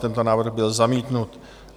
Tento návrh byl zamítnut.